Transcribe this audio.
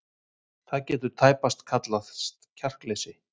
Það getur tæpast talist kjarkleysi.